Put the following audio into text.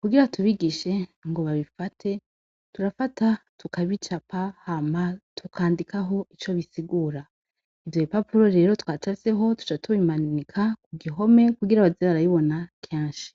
kugira tubigishe ngo babifate turafata tukabicapa hama tukandikako ico bisigura , ivyo bipapuro rero twacafyeko duca tubimanika ku gihome kugira baze barabibona kenshi.